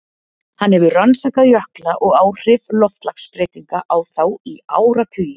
Hann hefur rannsakað jökla og áhrif loftslagsbreytinga á þá í áratugi.